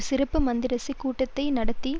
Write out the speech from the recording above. சிறப்பு மந்திரிசபை கூட்டத்தை நடத்தி